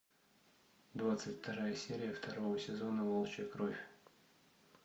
двадцать вторая серия второго сезона волчья кровь